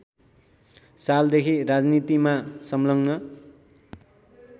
सालदेखि राजनीतिमा सङ्लग्न